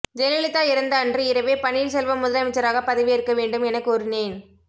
ஜெயலலிதா இறந்த அன்று இரவே பன்னீர்செல்வம் முதலமைச்சராக பதவியேற்க வேண்டும் என கூறினேன்